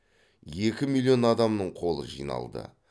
екі миллион адамның қолы жиналды